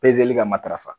ka matarafa